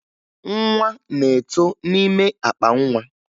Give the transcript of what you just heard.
Nwa na-eto n'ime akpa nwa